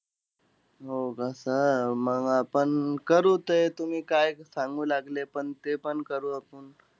हो का sir? मंग आपण करू ते. तुम्ही काय सांगू लागले पण, तेपण करू आपुन.